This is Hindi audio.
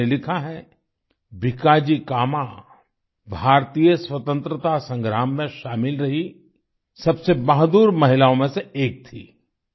इन्होंने लिखा है भीकाजी कामा भारतीय स्वतंत्रता संग्राम में शामिल रही सबसे बहादुर महिलाओं में से एक थी